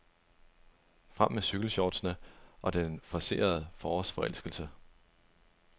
Frem med cykelshortsene og den forcerede forårsforelskelse.